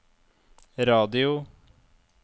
radio